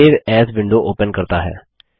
यह save as window open करता है